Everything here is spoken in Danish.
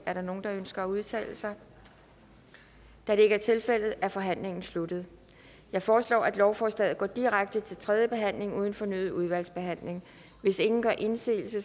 er der nogen der ønsker at udtale sig da det ikke er tilfældet er forhandlingen sluttet jeg foreslår at lovforslaget går direkte til tredje behandling uden fornyet udvalgsbehandling hvis ingen gør indsigelse